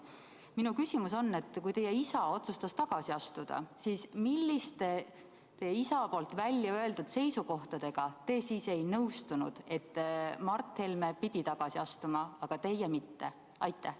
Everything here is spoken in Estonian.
Minu küsimus on: kui teie isa otsustas tagasi astuda, siis milliste isa väljaöeldud seisukohtadega te ei nõustunud, nii et Mart Helme pidi tagasi astuma, aga teie mitte?